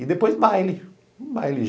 E depois baile. Baile